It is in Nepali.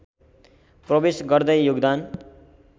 प्रवेश गर्दै योगदान